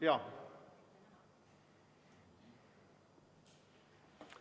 Jaa.